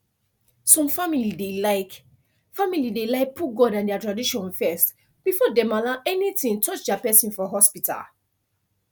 some family dey like family dey like put god and their tradition first before dem allow anything touch their person for hospital